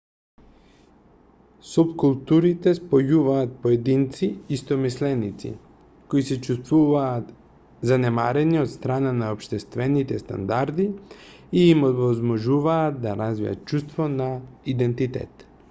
супкултурите спојуваат поединци истомисленици кои се чувствуваат занемарени од страна на општествените стандарди и им овозможуваат да развијат чувство на идентитет